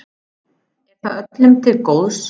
Er það öllum til góðs?